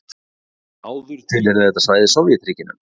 Áður tilheyrði þetta svæði Sovétríkjunum.